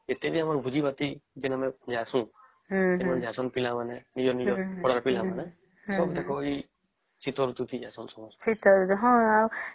ଏଟିଏ ବି ଆମର ଭୋଜି ଭାତ ଯେଣେ ଆମେ ଯାଉସନ ଏମାନେ ଯାଉସନ ପିଲା ମାନେ ନିଜର ନିଜର ପଡା ର ପିଲା ମାନେ ସବୁ ଦେଖା ଏଇ ଶୀତ ଋତୁ ଥି ଜେସନ